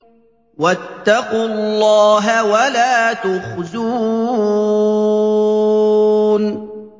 وَاتَّقُوا اللَّهَ وَلَا تُخْزُونِ